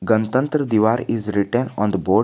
Ganatantra divar is written on the board.